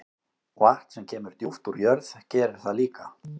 Vatn sem kemur djúpt úr jörð gerir það líka.